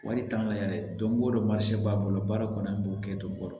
Wari t'an na yɛrɛ don go don b'a bolo baara kɔni an b'o kɛ ton kɔrɔ